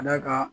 Ka d'a kan